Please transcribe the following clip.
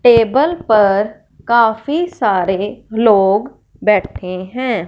Table पर काफी सारे लोग बैठे हैं।